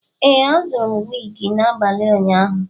Ee, azụrụ m wig n'abalị ụnyaahụ.